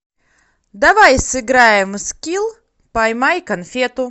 давай сыграем в скилл поймай конфету